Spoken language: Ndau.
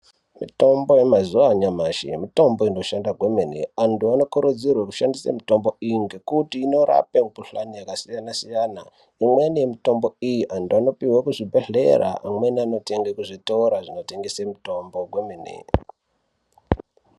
Mutombo yemazuwa anyamashi mutombo inombashanda kwemene antu anokurudzirwe kushandise mitombo iyi ngekuti inorape mbuhlani yakasiyana siyana imweni mitombo iyi antu anopuwe kuzvibhedhlera amweni anotenge kuzvitora zvinotengese mitombo kwemene.